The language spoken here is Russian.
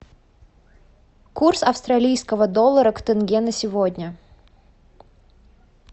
курс австралийского доллара к тенге на сегодня